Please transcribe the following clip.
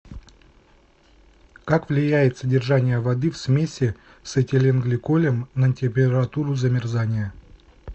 как влияет содержание воды в смеси с этиленгликолем на температуру замерзания